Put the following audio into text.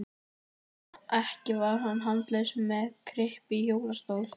Ekki var hann handalaus með kryppu í hjólastól.